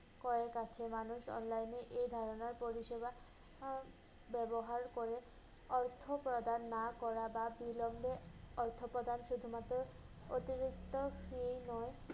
ক্রয়ের কাছে মানুষ online এ এই ধারণার পরিষেবা আহ ব্যবহার করে অর্থ প্রদান না করা বা বিলম্বে অর্থ প্রদান শুধুমাত্র অতিরিক্ত fee নয়